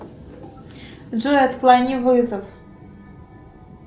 джой отклони вызов